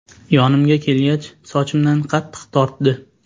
Yonimga kelgach, sochimdan qattiq tortdi.